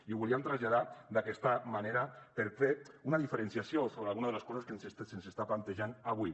i ho volíem traslladar d’aquesta manera per fer una diferenciació sobre alguna de les coses que se’ns estan plantejant avui